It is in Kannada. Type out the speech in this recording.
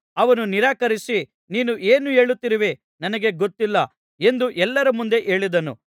ಅವನು ನಿರಾಕರಿಸಿ ನೀನು ಏನು ಹೇಳುತ್ತಿರುವೆ ನನಗೆ ಗೊತ್ತಿಲ್ಲ ಎಂದು ಎಲ್ಲರ ಮುಂದೆ ಹೇಳಿದನು